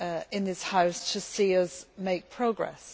in this House to see us make progress.